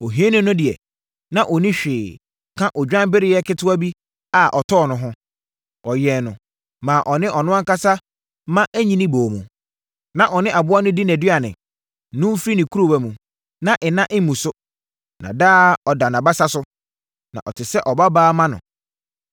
ohiani no deɛ, na ɔnni hwee ka odwanbereɛ ketewa bi a ɔtɔɔ no ho. Ɔyɛn no maa ɔne ɔno ankasa mma nyini boom. Na ɔne aboa no di nʼaduane, nom firi ne kuruwa mu, na nna mu nso, na daa ɔda nʼabasa so. Na ɔte sɛ ɔbabaa ma no.